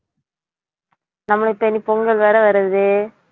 நம்மளுக்கு பொங்கல் வேற வருது